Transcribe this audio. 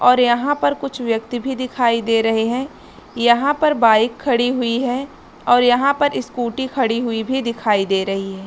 और यहाँ पर कुछ व्यक्ति भी दिखाई दे रहे है यहाँ पर बाइक खड़ी हुई है और यहाँ पर स्कूटी खड़ी हुई भी दिखाई दे रही है।